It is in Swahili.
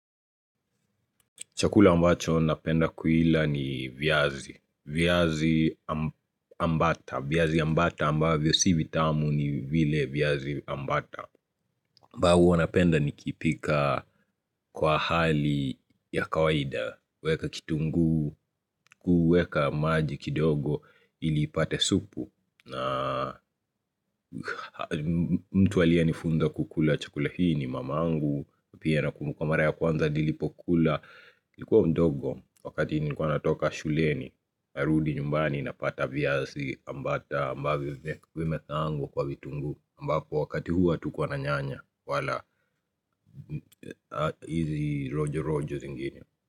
Chakula ambacho napenda kuila ni viazi. Viazi amb ambata. Viazi ambata amba vyo sivitamu ni vile viazi ambata. Mbao wanapenda ni kipika kwa hali ya kawaida. Weka kitunguu, kuweka maji kidogo ilipate supu. Na mtu alie nifunza kukula chakula hii ni mamangu Pia na kumbukamara ya kwanza nilipo kula likuwa mdogo wakati nilikua natoka shuleni Arudi nyumbani napata viazi ambata ambavyo vimekaangwa kwa vitunguu ambako wakati huo hatukua na nyanya wala hizi rojo rojo zingine.